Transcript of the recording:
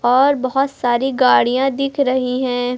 और बहोत सारी गाड़ियां दिख रही हैं।